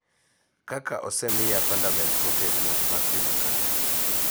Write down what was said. Kaka osemiya fundament motegno mar tim makare .